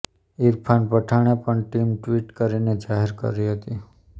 ઈરફાન પઠાણે પણ team tweet કરીને જાહેર કરી હતી